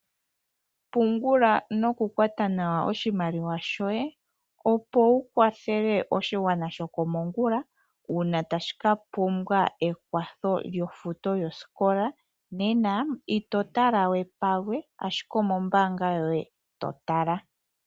Pungula nokukwata nawa oshimaliwa shoye opo wukwathele oshigwana shokomongula uuna tashi ka pumbwa ekwatho lyofuto yoosikola. Nena ito tala we palwe, ashike omombaanga yoye totala.